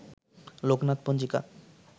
লোকনাথ পঞ্জিকা